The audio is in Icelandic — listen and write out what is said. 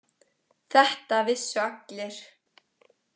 Þetta vissu allir.